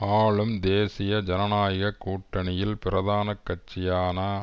ஆளும் தேசிய ஜனநாயக கூட்டணியில் பிரதான கட்சியான